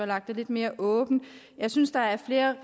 være lidt mere åbent jeg synes der er flere